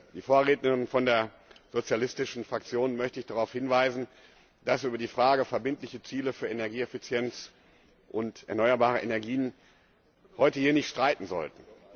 Die Vorrednerin von der sozialistischen Fraktion möchte ich darauf hinweisen, dass wir über die Frage verbindlicher Ziele für Energieeffizienz und erneuerbare Energien heute hier nicht streiten sollten.